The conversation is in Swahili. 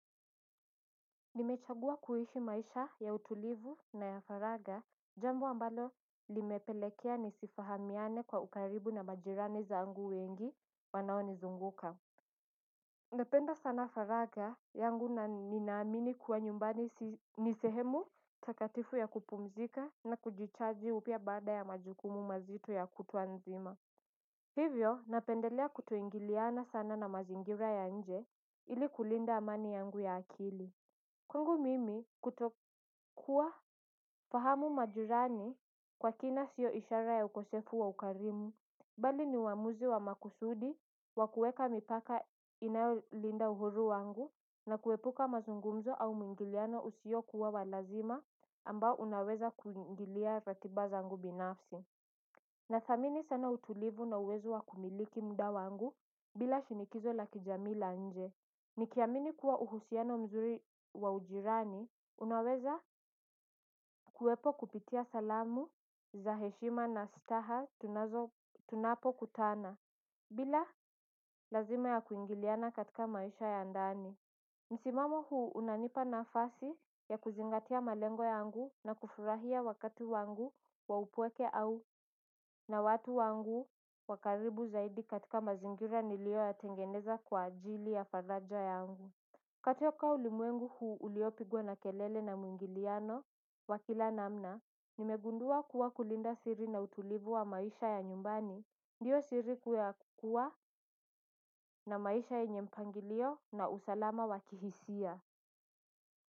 Nimechagua kuishi maisha ya utulivu na ya faragha jambo ambalo limepelekea nisifahamiane kwa ukaribu na majirani zangu wengi wanao nizunguka. Napenda sana faragha yangu na ninaamini kuwa nyumbani nisehemu takatifu ya kupumzika na kujichaji upya baada ya majukumu mazito ya kutwa nzima. Hivyo napendelea kutoingiliana sana na mazingira ya nje ili kulinda amani yangu ya akili. Kwagu mimi kutokuwa fahamu majirani kwa kina siyo ishara ya ukosefu wa ukarimu bali ni wamuzi wa makusudi wa kueka mipaka inayo linda uhuru wangu na kuepuka mazungumzo au mungiliano usiyo kuwa walazima ambao unaweza kuingilia ratiba zangu binafsi na thamini sana utulivu na uwezo wa kumiliki muda wangu bila shinikizo la kijamii la nje. Nikiamini kuwa uhusiano mzuri wa ujirani, unaweza kuwepo kupitia salamu za heshima na staha tunazo. Tunapo kutana, bila lazima ya kuingiliana katika maisha ya andani. Nsimamo huu unanipa nafasi ya kuzingatia malengo yangu na kufurahia wakati wangu wa upweke au na watu wangu wakaribu zaidi katika mazingira nilio ya tengeneza kwa ajili ya faraja yangu. Kutoka ulimwengu huu uliopigwa na kelele na mwingiliano wakila namna, nimegundua kuwa kulinda siri na utulivu wa maisha ya nyumbani, ndiyo siri kuwa na maisha yenye mpangilio na usalama wakihisia.